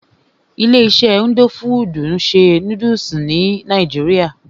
Ilé iṣé indo fudù ń ṣe nódúsì ní nàìjíría.